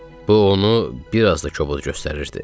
Bu onu bir az da kobud göstərirdi.